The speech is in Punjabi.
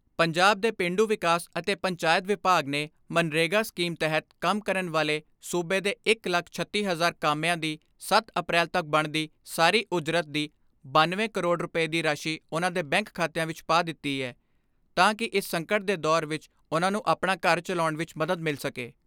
ਪੰਜਾਬ ਦੇ ਪੇਂਡੂ ਵਿਕਾਸ ਅਤੇ ਪੰਚਾਇਤ ਵਿਭਾਗ ਨੇ ਮਗਨਰੇਗਾ ਸਕੀਮ ਤਹਿਤ ਕੰਮ ਕਰਨ ਵਾਲੇ ਸੂਬੇ ਦੇ ਇੱਕ ਲੱਖ ਛੱਤੀ ਹਜ਼ਾਰ ਕਾਮਿਆਂ ਦੀ ਸੱਤ ਅਪ੍ਰੈਲ ਤੱਕ ਬਣਦੀ ਸਾਰੀ ਉਜਰਤ ਦੀ ਬਨਵੇਂ ਕਰੋੜ ਰੁਪਏ ਦੀ ਰਾਸ਼ੀ ਉਨ੍ਹਾਂ ਦੇ ਬੈਂਕ ਖਾਤਿਆਂ ਵਿਚ ਪਾ ਦਿੱਤੀ ਐ ਤਾਂ ਕਿ ਇਸ ਸੰਕਟ ਦੇ ਦੌਰ ਵਿਚ ਉਨ੍ਹਾਂ ਨੂੰ ਆਪਣਾ ਘਰ ਚਲਾਉਣ